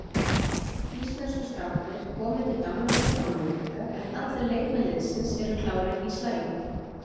Íslensku strákarnir komu til Danmerkur á miðvikudag en allir leikmenn liðsins eru klárir í slaginn.